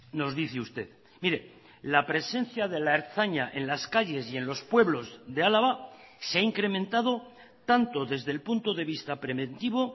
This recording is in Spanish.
nos dice usted mire la presencia de la ertzaina en las calles y en los pueblos de álava se ha incrementado tanto desde el punto de vista preventivo